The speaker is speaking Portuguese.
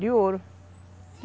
De ouro.